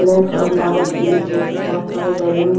Black और लाल और पीले कलर की बहुत सारे बेलून हैं।